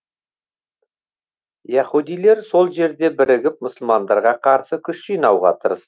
яһудилер сол жерде бірігіп мұсылмандарға қарсы күш жинауға тырыс